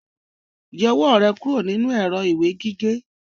Yọ ọwọ́ rẹ kúrò nínú èrọ ìwé gígé!